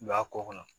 U b'a kɔ kɔnɔ